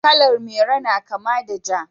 Kalar Maru ta kama da Ja.